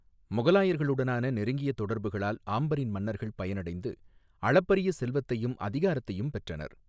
முகலாயர்களுடனான நெருங்கிய தொடர்புகளால் ஆம்பரின் மன்னர்கள் பயனடைந்து, அளப்பரிய செல்வத்தையும் அதிகாரத்தையும் பெற்றனர்.